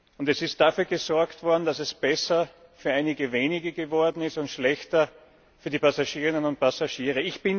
Und es ist dafür gesorgt worden, dass es besser für einige wenige geworden ist und schlechter für die Passagierinnen und Passagiere.